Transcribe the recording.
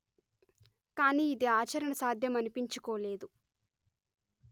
కాని యిది ఆచరణ సాధ్యమనిపించుకోలేదు